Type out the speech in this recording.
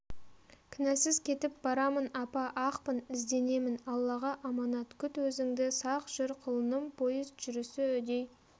кінәсіз кетіп барамын апа ақпын ізденемін аллаға аманат күт өзіңді сақ жүр құлыным поезд жүрісі үдей